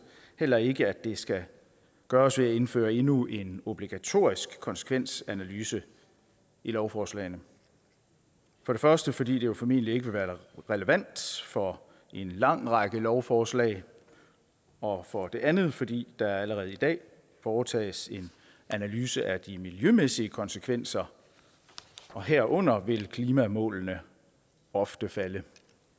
heller ikke at det skal gøres ved at indføre endnu en obligatorisk konsekvensanalyse i lovforslagene for det første fordi det formentlig ikke vil være relevant for en lang række lovforslag og for det andet fordi der allerede i dag foretages en analyse af de miljømæssige konsekvenser og herunder vil klimamålene ofte falde